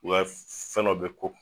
O ya ye fɛn dɔ bɛ kɔ.